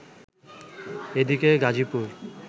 এদিকে গাজীপুর